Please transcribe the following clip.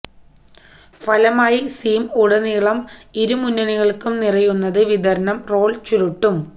ഫലമായി സീം ഉടനീളം ഇരുമുന്നണികൾക്കും നിറയുന്നത് വിതരണം റോൾ ചുരുട്ടും